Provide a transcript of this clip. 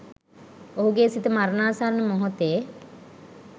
ඔහුගේ සිත මරණාසන්න මොහොතේ